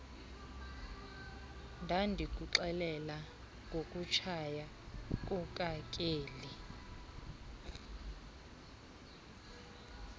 ndandikuxelela ngokutshaya kukakeli